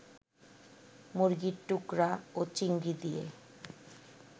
মুরগির টুকরা ও চিংড়ি দিয়ে